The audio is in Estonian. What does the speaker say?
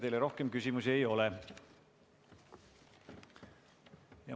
Teile rohkem küsimusi ei ole.